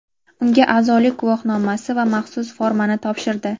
unga a’zolik guvohnomasi va maxsus formani topshirdi.